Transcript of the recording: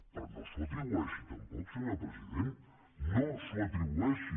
però no s’ho atribueixi tampoc senyor president no s’ho atribueixi